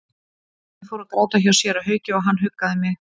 Ég fór að gráta hjá séra Hauki og hann huggaði mig.